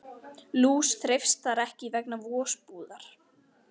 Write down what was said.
Lús þreifst þar ekki vegna vosbúðar.